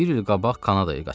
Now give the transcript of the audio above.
Bir il qabaq Kanadaya qaçıb.